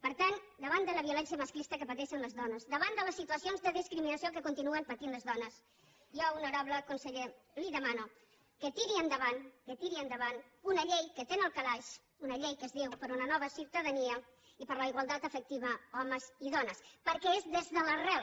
per tant davant de la violència masclista que pateixen les dones davant de les situacions de discriminació que continuen patint les dones jo honorable conseller li demano que tiri endavant que la tiri endavant una llei que té en el calaix una llei que es diu per una nova ciutadania i per la igualtat efectiva homes i dones perquè és des de l’arrel